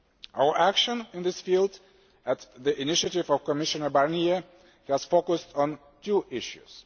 Our action in this field, at the initiative of Commissioner Barnier, has focused on two issues.